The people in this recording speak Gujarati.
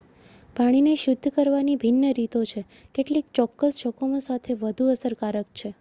પાણીને શુદ્ધ કરવાની ભિન્ન રીતો છે કેટલીક ચોક્કસ જોખમો સામે વધુ અસરકારક છે